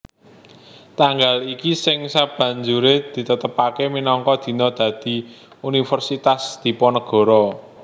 Tanggal iki sing sabanjuré ditetepaké minangka dina dadi Universitas Diponegoro